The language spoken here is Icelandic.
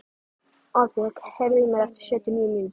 Árbjörg, heyrðu í mér eftir sjötíu og níu mínútur.